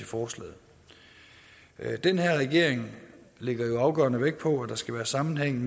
forslaget den her regering lægger jo afgørende vægt på at der skal være sammenhæng